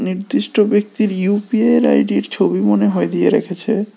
নির্দিষ্ট ব্যক্তির ইউপিআইয়ের আইডির ছবি মনে হয় দিয়ে রেখেছে।